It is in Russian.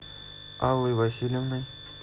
аллой васильевной